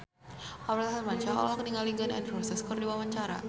Aurel Hermansyah olohok ningali Gun N Roses keur diwawancara